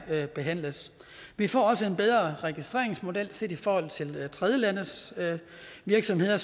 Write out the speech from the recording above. her behandles vi får også en bedre registreringsmodel set i forhold til tredjelandes virksomheder